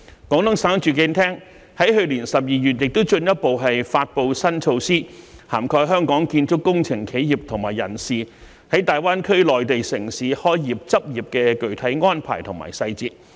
廣東省住房和城鄉建設廳亦於去年12月進一步發布新措施，涵蓋香港建築工程企業和人士在大灣區內地城市開業執業的具體安排和細節。